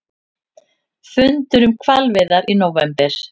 Fundur um hvalveiðar í nóvember